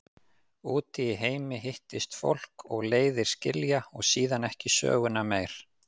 Úti í heimi hittist fólk og leiðir skilja og síðan ekki söguna meir.